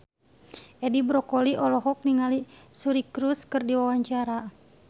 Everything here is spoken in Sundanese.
Edi Brokoli olohok ningali Suri Cruise keur diwawancara